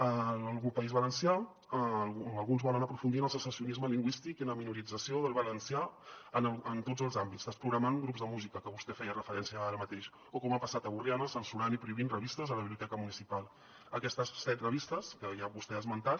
al país valencià alguns volen aprofundir en el secessionisme lingüístic i en la minorització del valencià en tots els àmbits desprogramant grups de música que vostè hi feia referència ara mateix o com ha passat a borriana censurant i prohibint revistes a la biblioteca municipal aquestes set revistes que ja vostè ha esmentat